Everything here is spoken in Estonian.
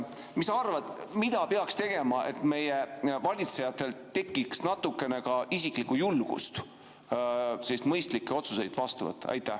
Mis sa arvad, mida peaks tegema, et meie valitsejatel tekiks natukene ka isiklikku julgust mõistlikke otsuseid vastu võtta?